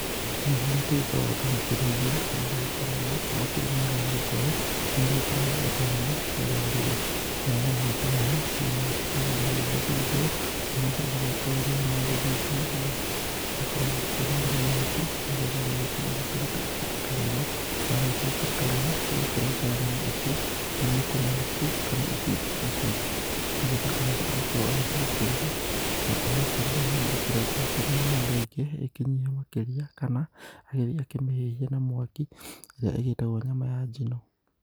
Mahiũ marĩa tũgĩkoragwo tũgĩkĩrĩithia, nĩ magĩkoragwo makĩrĩ mega nĩ gũkorwo nĩ magĩkoragwo o ta iria cia rũrĩrĩ. Namo mahiũ ta maya nĩ magĩkoragwo magĩgĩthĩnjwo, na mũndũ agagĩkorwo rĩrĩa magĩthĩnjwo ũgagĩkorwo ũgĩkĩmarĩra mahuti nĩgetha ũgagĩkorwo ũgĩkĩruta kĩndũ ta rũa na wakĩrĩkia gũkĩruta rũa ũgakĩrenga nyama icio manuku manuku kana icunjĩ icunjĩ nĩgetha mũndũ agagĩkorwo agĩthiĩ gũkĩruga na agũkĩruga hihi akĩrengange nyama ĩyo rĩngĩ ĩkĩnyihe makĩria kana agĩthiĩ akĩmĩhĩhie na mwaki ĩrĩa ĩgĩtagwo nyama ya njino.